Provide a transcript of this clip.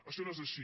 això no és així